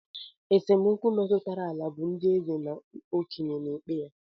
Esemokwu metụtara ala bụ ndị eze na okenye na-ekpe ya